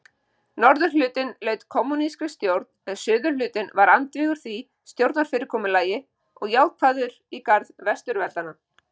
Norðurhlutinn laut kommúnískri stjórn en suðurhlutinn var andvígur því stjórnarfyrirkomulagi og jákvæður í garð Vesturveldanna.